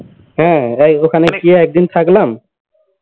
হ্যাঁ ওখানে গিয়ে একদিন থাকলাম